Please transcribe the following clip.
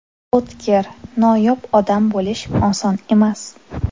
O‘tkir, noyob odam bo‘lish oson emas.